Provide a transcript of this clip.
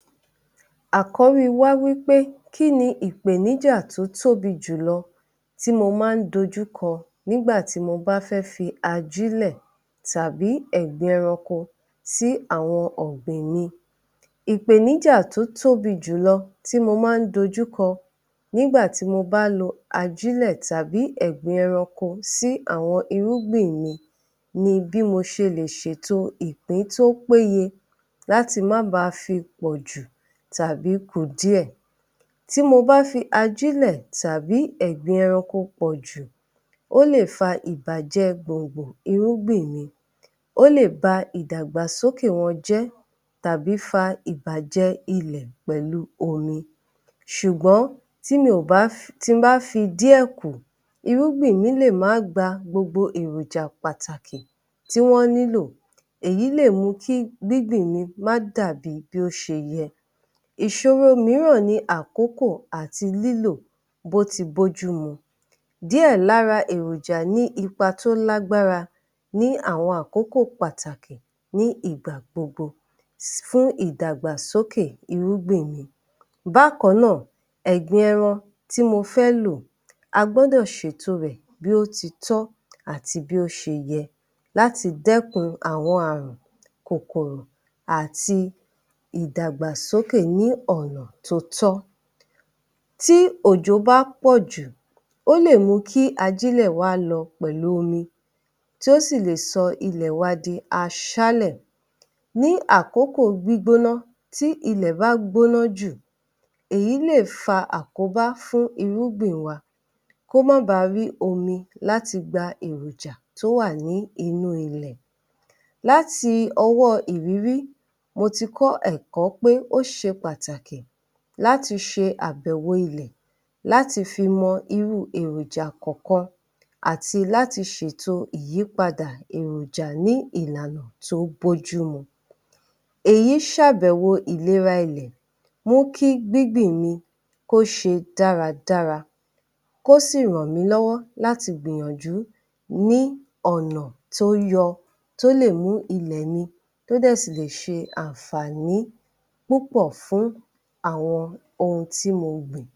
Àkọ́ri wá wípé kíni ìpèníjà tó tóbi jùlọ tí mo máá ń dojúkọ nígbà tí mo bá fẹ́ fi ajílẹ̀ tàbí ẹ̀gbin ẹranko sí àwọn ọ̀gbìn mi. Ìpèníjà tó tóbi jùlọ tí mo máá ń dojúkọ nígbà tí mo bá lo ajílẹ̀ tàbí ẹ̀gbin ẹranko sí àwọn irúgbìn mi ni bí mo ṣe lè ṣèto ìpín tó péye láti má ba fi pọ̀jù tàbí ku díẹ̀. Tí mo bá fi ajílẹ̀ tàbí ẹ̀gbin ẹranko pọ̀jù, ó lè fa ìbàjẹ gbòǹgbò irúgbìn mi, ó lè ba ìdàgbàsókè wọn jẹ́ tàbí fa ìbàjẹ ilẹ̀ pẹ̀lu omi. Ṣùgbọ́n, tí mi ò bá fi, tí n bá fi díẹ̀ kù, irúgbìn mi lè má gba gbogbo èròjà pàtàkì tí wọ́n nílò. Èyí lè mu kí gbíngbìn mi má dàbi bó ṣe yẹ. Ìṣòro mìíràn ni àkókò àti lílò bí ó ti bójú mu. Díẹ̀ lára èròja ní ipa tó lágbára ní àwọn àkókò pàtàkì ní ìgbà gbogbo fún ìdàgbàsókè irúgbìn mi. Bákan náà, ẹ̀gbin ẹran tí mo fẹ́ lò a gbọ́dọ̀ ṣèto rẹ̀ bí ó ti tọ́ àti bí ó ṣe yẹ láti dẹ́kun àwọn àrùn, kòkòrò àti ìdàgbàsókè ní ọ̀nà tó tọ́. Tí òjò bá pọ̀jù, ó lè mú kí ajílẹ̀ wá lọ pẹ̀lú omi tí ó sì le sọ ilẹ̀ wa di aṣáálẹ̀ Ní àkókò gbígbóná, tí ilẹ̀ bá gbóná jù, èyí lè fa àkóbá fún irúgbìn wa kó mọ́ ba rí omi láti gba èròjà tó wà ní inú ilẹ̀ Láti ọwọ́ ìrírí, mo ti kọ́ ẹ̀kọ́ pé ó ṣe pàtàkì láti ṣe àbèwo ilẹ̀ láti fi mọ irú èròjà kọ̀ọ̀kan àti láti ṣèto ìyípadà èròjà ní ìlànà tó bójúmu. Èyí ṣàbẹ̀wo ìlera ilẹ̀ mú kí gbíngbìn mi kó ṣe dáradára, kó sì ràn mí lọ́wọ́ láti gbìyànjú ní ọ̀nà tó yọ tó lè mú ilẹ̀ mi tó dẹ̀ sì le ṣe àǹfààní púpọ̀ fún àwọn ohun tí mo gbìn.